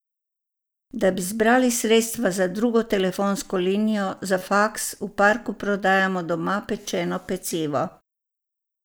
Da bi zbrali sredstva za drugo telefonsko linijo, za faks, v parku prodajamo doma pečeno pecivo.